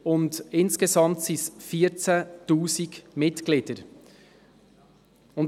Zudem weist der Verein insgesamt 14 000 Mitglieder auf.